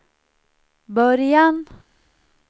början